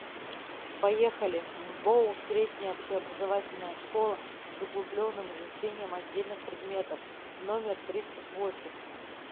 поехали мбоу средняя общеобразовательная школа с углубленным изучением отдельных предметов номер тридцать восемь